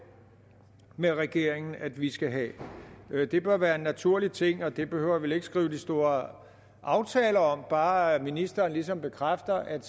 med regeringen at vi skal have det bør være en naturlig ting og det behøver vi vel ikke skrive store aftaler om bare ministeren ligesom bekræfter at